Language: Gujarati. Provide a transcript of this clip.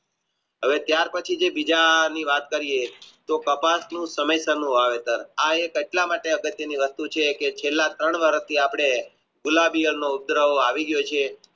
હવે ત્યાર પછી જે બીજા ની વાત કરીયે તો કપાસનું ચેલા ત્રણ વર્ષ થી આપને આવી ગયો છે